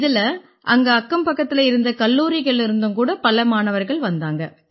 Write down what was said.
இதில அங்க அக்கம்பக்கத்தில இருந்த கல்லூரிகள்லேர்ந்தும் கூட பல மாணவர்கள் வந்தாங்க